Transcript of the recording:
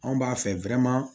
Anw b'a fɛ